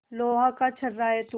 लोहा का छर्रा है तू